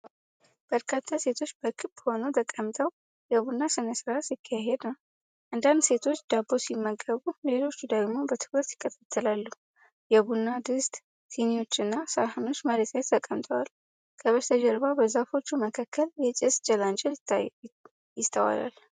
በርካታ ሴቶች በክብ ሆነው ተቀምጠው የቡና ሥነ ሥርዓት ሲካሄድ ነው። አንዳንድ ሴቶች ዳቦ ሲመገቡ፣ ሌሎች ደግሞ በትኩረት ይከታተላሉ። የቡና ድስት፣ ስኒዎችና ሳህኖች መሬት ላይ ተቀምጠው፣ ከበስተጀርባ በዛፎች መካከል የጭስ ጭላንጭል ይስተዋላል።